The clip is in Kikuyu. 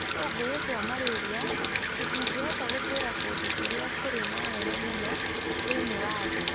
tũgunyũ twa malaria tũtingĩhota gũtũũra kũndũ kũrĩa kũrĩ na heho mũno thĩinĩ wa thĩ